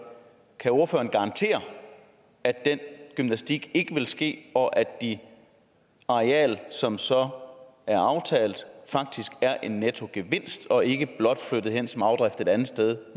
kan ordføreren garantere at den gymnastik ikke vil ske og at de arealer som så er aftalt faktisk er en nettogevinst og ikke blot er flyttet hen som afdrift et andet sted